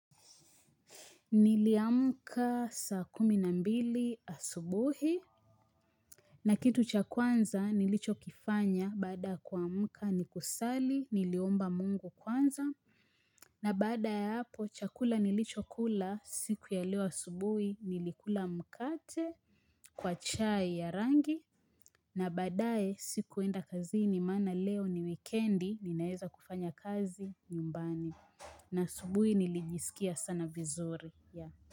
Niliamka saa kumi na mbili asubuhi na kitu cha kwanza nilichokifanya baada kuamka ni kusali niliomba mungu kwanza na baada ya hapo chakula nilichokula siku ya leo asubuhi nilikula mkate kwa chai ya rangi na baadae sikuenda kazini maana leo ni wikendi ninaeza kufanya kazi nyumbani na asubuhi nilijisikia sana vizuri ya.